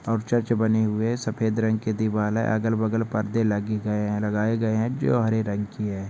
और चर्च बनी हुई है सफ़ेद रंग के दीवार है अगल बगल परदे लगी गए है लगाए गए है जो हरे रंग की है।